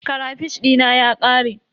Karafish dina ya ƙare.